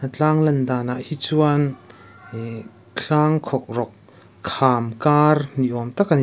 a tlang lan danah hi chuan ihh tlang khawk rawk kham kar ni awm tak ani.